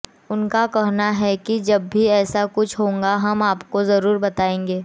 उनका कहना है कि जब भी ऐसा कुछ होगा हम आपको जरूर बताएंगे